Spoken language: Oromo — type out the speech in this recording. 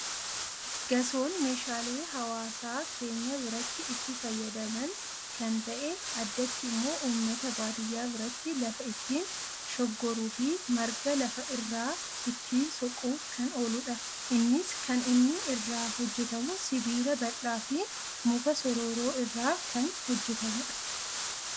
Gasoon meeshaalee hawaasa keenya biratti itti fayyadaman kan ta'e addatti immoo uummata baadiyyaa biratti lafa ittiin shoggoruu fi marga lafa irraa ittiin soquuf kan ooludha. Innis kan inni irraa hojjetamu sibiila bal'dhaa fi muka sorooraa irraa kan hojjetamudha.